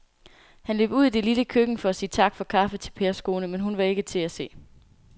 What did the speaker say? Han løb ud i det lille køkken for at sige tak for kaffe til Pers kone, men hun var ikke til at se.